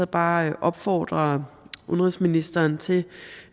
bare opfordre udenrigsministeren til